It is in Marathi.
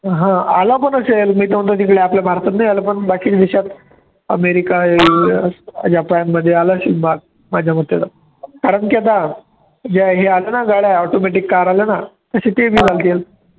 हा आला पण असेल मी तर म्हणतो तिकडे आपल्या भारतात नाही आलं, पण बाकीच्या देशात अमेरिका, , जपानमध्ये आलं असीन भा माझ्या मते कारण की आता ज्या ह्या आल्या ना गाड्या automatic car आल्या ना तसे ते बी